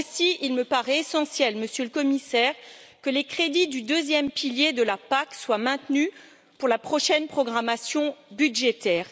Aussi me paraît il essentiel, Monsieur le Commissaire, que les crédits du deuxième pilier de la PAC soient maintenus pour la prochaine programmation budgétaire.